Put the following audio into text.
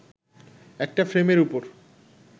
একটা ফ্রেমের ওপর